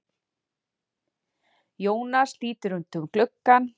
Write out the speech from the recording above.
Jónas lítur út um gluggann.